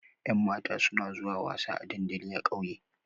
Ƴan mata suna zuwa wasa a dandali a ƙauye